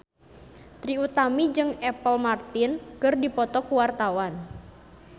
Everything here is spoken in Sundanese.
Trie Utami jeung Apple Martin keur dipoto ku wartawan